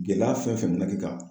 Gɛlɛya fɛn fɛn bɛna kɛ ka